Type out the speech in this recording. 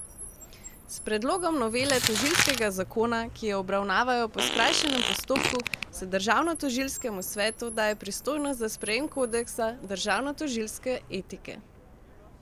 S predlogom novele tožilskega zakona, ki jo obravnavajo po skrajšanem postopku, se državnotožilskemu svetu daje pristojnost za sprejem kodeksa državnotožilske etike.